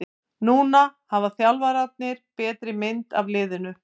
Núna hafa þjálfararnir betri mynd af liðinu.